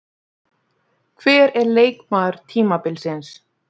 Hver er leikmaður tímabilsins?